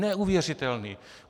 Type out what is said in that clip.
Neuvěřitelný!